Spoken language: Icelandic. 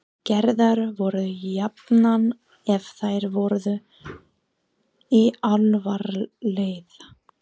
Gerðar voru jafnan ef þær voru í alfaraleið.